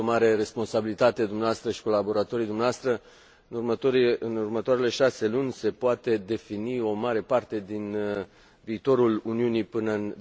Aveți o mare responsabilitate, dumneavoastră și colaboratorii dumneavoastră în următoarele șase luni se poate defini o mare parte din viitorul Uniunii până în